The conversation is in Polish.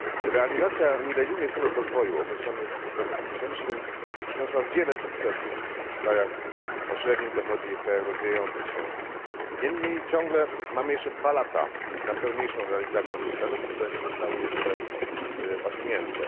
Realizacja milenijnych celów rozwoju określonych w roku 2000 przyniosła wiele sukcesów w krajach o średnim dochodzie i w krajach rozwijających się. Niemniej ciągle mamy jeszcze 2 lata na pełniejszą realizację tych celów, które nie zostały jeszcze osiągnięte.